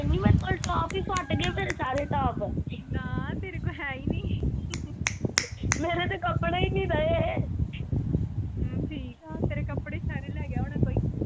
ਹੈਨੀ ਮੇਰੇ ਕੋਲ ਟੋਪ ਹੀ ਫਟ ਗਏ ਫੇਰ ਸਾਰੇ ਟੋਪ ਨਾ ਤੇਰੇ ਕੋਲ ਹੇ ਹੀ ਨਹੀ ਮੇਰੇ ਤੇ ਕਪੜੇ ਨੀ ਰਹੇ ਹਮ ਠੀਕ ਆ ਤੇਰੇ ਕਪੜੇ ਸਾਰੇ ਲੈਗਿਆ ਹੋਣਾ ਕੋਈ।